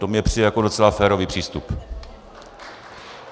To mi přijde jako docela férový přístup.